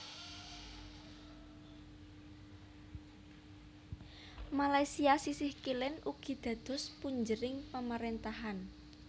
Malaysia sisih kilen ugi dados punjering pamarentahan